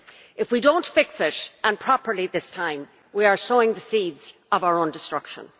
If we do not fix it and properly this time we are sowing the seeds of our own destruction.